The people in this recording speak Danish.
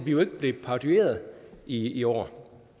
jo ikke blev parodieret i år